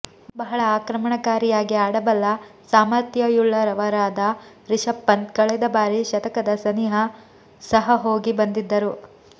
ಬಹಳ ಆಕ್ರಮಣಕಾರಿಯಾಗಿ ಆಡಬಲ್ಲ ಸಾಮಥ್ರ್ಯಯುಳ್ಳವರಾದ ರಿಷಭ್ ಪಂತ್ ಕಳೆದ ಬಾರಿ ಶತಕದ ಸನಿಹ ಸಹ ಹೋಗಿ ಬಂದಿದ್ದರು